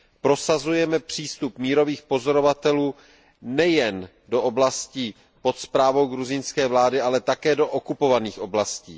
Prosazujeme přístup mírových pozorovatelů nejen do oblastí pod správou gruzínské vlády, ale také do okupovaných oblastí.